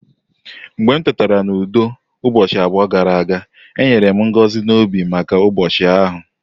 Mgbe m tetara n'ụtụtụ udo ụbọchị abụọ gara aga, e nyere m ngọzi n'obi maka ụbọchị ahụ.